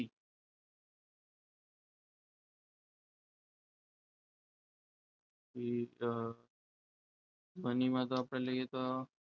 વિવિધ મને એમાં તો આપણે લઈએ તો,